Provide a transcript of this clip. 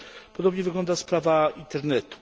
Podobnie wygląda sprawa Internetu.